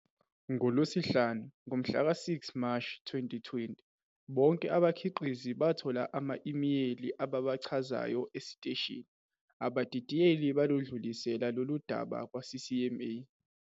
NgoLwesihlanu, ngomhlaka 6 Mashi 2020, bonke abakhiqizi bathola ama-imeyili ababachazayo esiteshini. Abadidiyeli baludlulisele lolu daba kwaCCMA.